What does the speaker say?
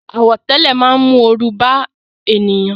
Àwọ̀tẹ́lẹ̀ máa ń mú oru bá ènìyàn